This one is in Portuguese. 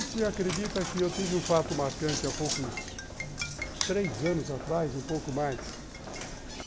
E se acredita que eu tive um fato marcante há poucos... três anos atrás, um pouco mais.